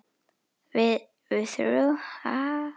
Við- við þrjú, ha?